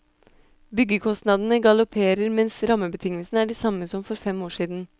Byggekostnadene galopperer mens rammebetingelsene er de samme som for fem år siden.